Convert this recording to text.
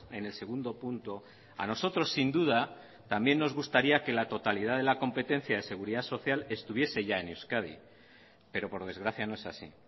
en el segundo punto a nosotros sin duda también nos gustaría que la totalidad de la competencia de seguridad social estuviese ya en euskadi pero por desgracia no es así